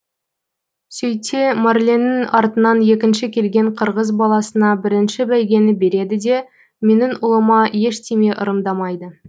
сөйтсе марленнің артынан екінші келген қырғыз баласына бірінші бәйгені береді де менің ұлыма ештеме ырымдамайды